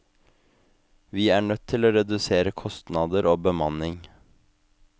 Vi er nødt til å redusere kostnader og bemanning.